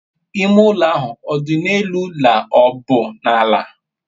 ime ulo ahu o di n'elu la o bu n'ala?